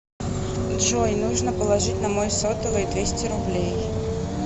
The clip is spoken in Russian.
джой нужно положить на мой сотовый двести рублей